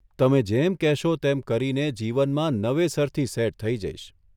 તમે જેમ કહેશો તેમ કરીને જીવનમાં નવેસરથી સેટ થઇ જઇશ.